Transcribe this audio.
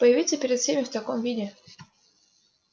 появиться перед всеми в таком виде